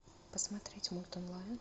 посмотреть мульт онлайн